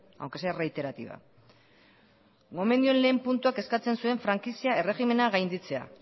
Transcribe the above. aunque sea reiterativa gomendioen lehen puntuak eskatzen zuen frankizia erregimena gainditzea